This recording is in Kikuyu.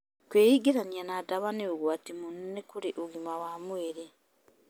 Kwĩingĩrania na ndawa nĩ ũgwati mũnene kũrĩ ũgima wa mwĩrĩ.